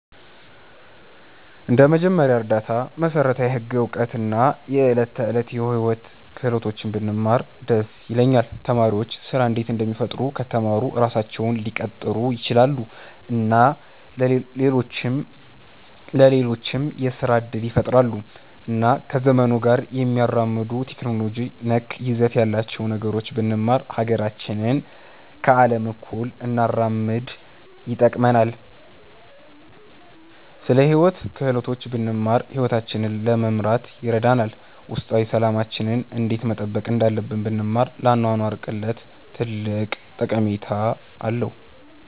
እንደ መጀመሪያ እርዳታ፣ መሠረታዊ ህግ እውቀት እና የዕለት ተዕለት ሕይወት ክህሎቶች ብንማር ደስ ይለኛል። ተማሪዎች ስራ እንዴት እንደሚፈጥሩ ከተማሩ ራሳቸውን ሊቀጥሩ ይችላሉ እና ለሌሎችም የስራ እድል ይፈጥራሉ። እና ከዘመኑ ጋር የሚያራምዱ ቴክኖሎጂ ነክ ይዘት ያላቸውን ነገሮች ብንማር ሀገራችንን ከአለም እኩል እንድናራምድ ይጠቅመናል። ስለ ሂወት ክህሎቶች ብንማር ሂወታችንን ለመምራት ይረዳናል። ውስጣዊ ሠላማችንን እንዴት መጠበቅ እንዳለብን ብንማር ለአኗኗር ቅለት ትልቅ ጠቀሜታ አለዉ።